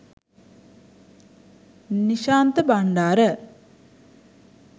nishantha bandara